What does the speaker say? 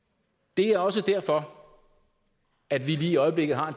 det er også derfor at vi lige i øjeblikket har